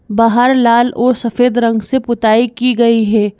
बाहर लाल और सफेद रंग से पुताई की गई है।